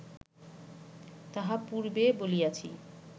তাহা পূর্বে বলিয়াছি